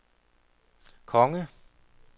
konge